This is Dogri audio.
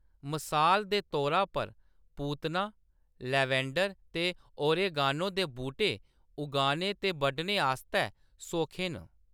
मसाल दे तौरे पर, पूतना, लैवेंडर ते ओरेगानो दे बुह्‌‌टे उगाने ते बड्डने आस्तै सौखे न।